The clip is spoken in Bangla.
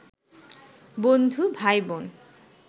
বন্ধু, ভাইবোন